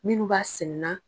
Minnu b'a sɛnɛ na.